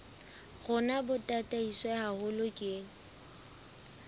rona bo tataiswe haholo ke